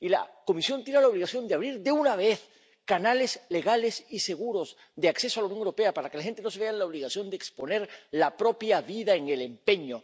Y la Comisión tiene la obligación de abrir, de una vez, canales legales y seguros de acceso a la Unión Europea para que la gente no se vea en la obligación de exponer la propia vida en el empeño.